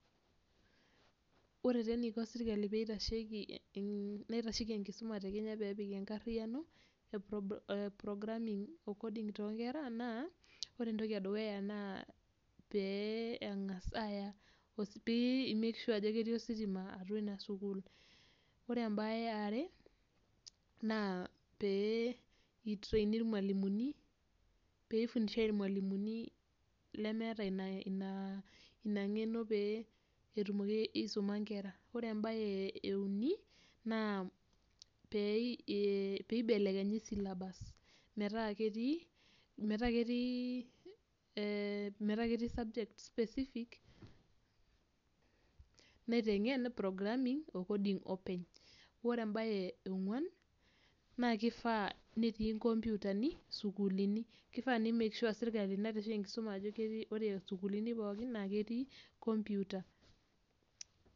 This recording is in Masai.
Ore taa enaiko sirkali naitashoki enkishuma peepik enkariyiano ee programming coding toonkera naa ore entoki edukuya naa pee enkas aaya pee imek sure ajo ketii ositima ina sukuul. Ore embae eare naa pee itireini ilmalimuni pee ifundishai ilmalimuni lemaata ina nkeno pee etumoki aisuma inkera. Ore embae euni naa pee eibekenyi iselebas metaa ketii ee sabjets specific naitenken e a programming o coding openy. Ore embae eonkuan, naakifaa netii inkomputani sukuulini, kifaa nimek shua sirkali naitashoki enkishuma ajo ore sukuulini pookin ketii komputa.